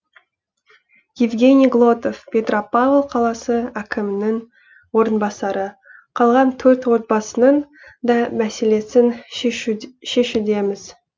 евгений глотов петропавл қаласы әкімінің орынбасары қалған төрт отбасының да мәселесін шешудеміз